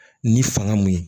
Ni fanga mun ye